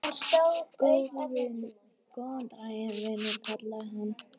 Góðan daginn, vinur kallaði hann.